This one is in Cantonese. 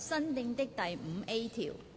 新訂的第 5A 條。